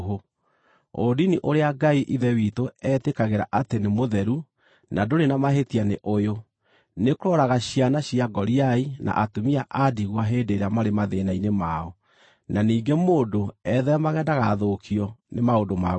Ũndini ũrĩa Ngai Ithe witũ etĩkagĩra atĩ nĩ mũtheru na ndũrĩ na mahĩtia nĩ ũyũ: nĩ kũroraga ciana cia ngoriai na atumia a ndigwa hĩndĩ ĩrĩa marĩ mathĩĩna-inĩ mao, na ningĩ mũndũ etheemage ndagathũkio nĩ maũndũ ma gũkũ thĩ.